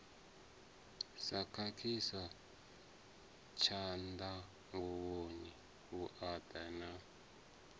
sa khakhiswa tshanḓanguvhoni vhuaḓa na